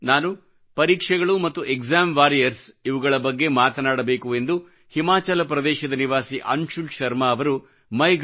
ನಾನು ಪರೀಕ್ಷೆಗಳು ಮತ್ತು ಎಕ್ಸಾಮ್ ವಾರಿಯರ್ಸ್ ಇವುಗಳ ಬಗ್ಗೆ ಮಾತನಾಡಬೇಕು ಎಂದು ಹಿಮಾಚಲ ಪ್ರದೇಶದ ನಿವಾಸಿ ಅನ್ಶುಲ್ ಶರ್ಮ ಅವರು ಮೈಗೌ mygov